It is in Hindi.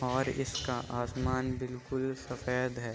और इसका आसमान बिल्कुल सफ़ेद है|